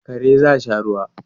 Kare za sha ruwa